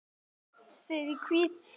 Aftur og aftur.